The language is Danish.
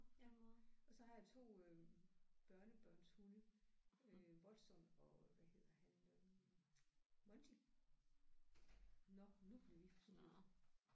Ja og så har jeg 2 øh børnebørnshunde øh Watson og hvad hedder han øh Monty. Nåh nu bliver vi forstyrret